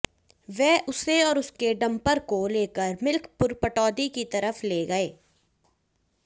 वे उसे और उसके डंपर को लेकर मिल्कपुर पटौदी की तरफ ले गए